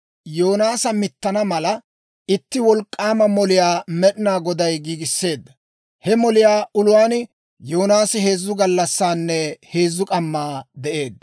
Yoonaasa mittana mala, itti wolk'k'aama moliyaa Med'inaa Goday giigisseedda; he moliyaa uluwaan Yoonaasi heezzu gallassaanne heezzu k'ammaa de'eedda.